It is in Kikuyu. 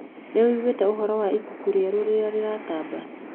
Nĩwĩiguĩte ũhoro wa ibuku rĩerũ rĩria rĩratamba?